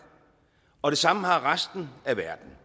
og det samme har resten af verden